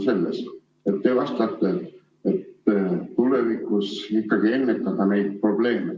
Te vastate, et tulevikus ikkagi ennetada neid probleeme.